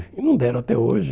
E não deram até hoje.